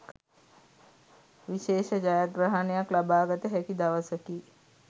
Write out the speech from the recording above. විශේෂ ජයග්‍රහණයක් ලබාගත හැකි දවසකි.